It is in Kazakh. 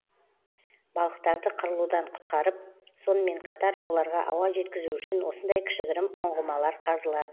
балықтарды қырылудан құтқарып сонымен қатар оларға ауа жеткізу үшін осындай кішігірім ұңғымалар қазылады